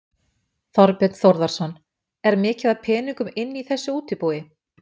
Þorbjörn Þórðarson: Er mikið af peningum inni í þessu útibúi?